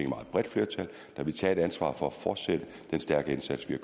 meget bredt flertal der ville tage et ansvar for at fortsætte den stærke indsats vi